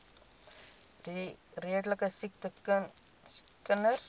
redelike siek kinders